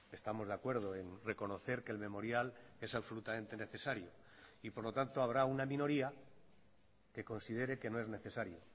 estamos de acuerdo en reconocer que el memorial es absolutamente necesario y por lo tanto habrá una minoría que considere que no es necesario